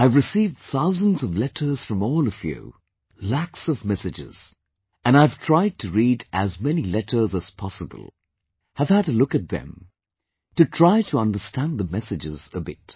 I have received thousands of letters from all of you, lakhs of messages ... and I have tried to read as many letters as possible, have a look at them and try to understand the messages a bit